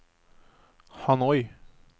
Hanoi